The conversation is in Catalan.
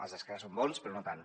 els d’esquerra som bons però no tant